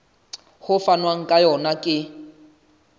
ho fanwang ka yona ke